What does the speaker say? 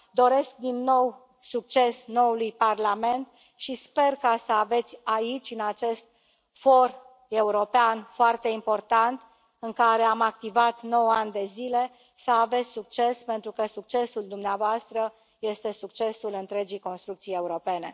Doresc, din nou, succes noului Parlament și sper să aveți aici, în acest for european foarte important, în care am activat nouă ani de zile, să aveți succes, pentru că succesul dumneavoastră este succesul întregii construcții europene.